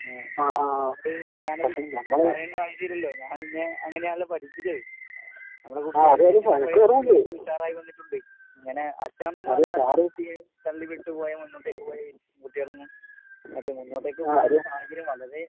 ഏഹ്. ഞാനത് പറയണ്ട ആവശ്യില്ലല്ലോ, ഞാൻ നിന്നെ അങ്ങനെയാണല്ലോ പഠിപ്പിച്ചത്. നമ്മടെ കൂട്ടത്തിലെ ഉഷാറായി വന്നിട്ടുണ്ട്. ഇങ്ങനെ അച്ഛനമ്മമാര് തള്ളിവിട്ട് പോയ മുന്നോട്ടേക്ക് പോയ വ് കുട്ടികളൊന്നും മറ്റേ മുന്നോട്ടേക്ക് പോകാള്ള സാഹചര്യം വന്നതേ